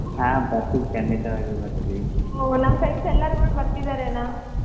ಹಾ ಬರ್ತೀವಿ ಖಂಡಿತವಾಗಿ ಬರ್ತೀವಿ ಓ ನಮ್ friends ಎಲ್ಲರೂ ಕೂಡಾ ಬರ್ತಿದಾರೆ ಅಣ್ಣಾ.